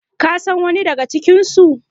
kasan wani daga cikinsu?